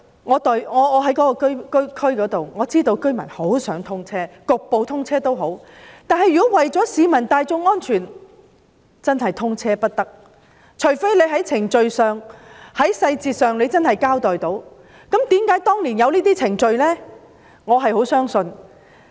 我負責當區的工作，我知道居民都很想通車，即使局部通車也好，但為了市民大眾的安全，現時是不能通車的，除非能夠清楚交代有關的程序和細節。